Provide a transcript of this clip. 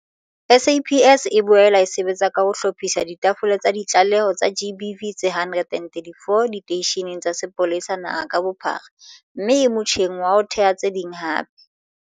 SAPS e boela e sebetsa ka ho hlophisa ditafole tsa ditlaleho tsa GBV tse 134 diteisheneng tsa sepolesa naha ka bophara mme e motjheng wa ho theha tse ding hape.